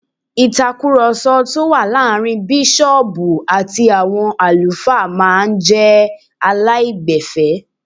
Ìtakùròsọ tó wà láàrin bísọ̀ọ̀bù àti àwọn àlùfáà máa n jé aláìgbẹ̀fẹ́